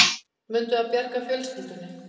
Munu þau bjarga fjölskyldunni